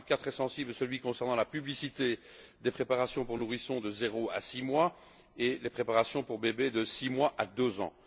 Un cas très sensible est celui concernant la publicité des préparations pour nourrissons de 0 à 6 mois et les préparations pour bébés de 6 mois à 2 ans.